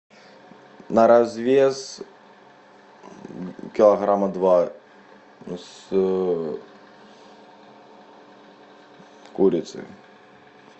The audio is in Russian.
на развес килограмма два с курицей